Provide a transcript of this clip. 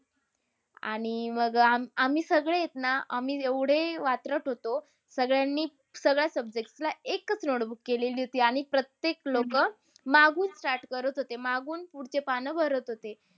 आणि अह मग अह आ~आम्ही सगळेत ना, आम्ही एवढे अह वात्रट होतो. सगळ्यांनी सगळ्या subjects ला एकच notebook केलेली होती. आणि प्रत्येक लोकं मागून start करत होते. मागून पुढचे पानं भरत होते.